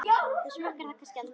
Þú smakkar það kannski aldrei?